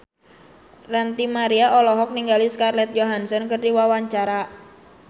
Ranty Maria olohok ningali Scarlett Johansson keur diwawancara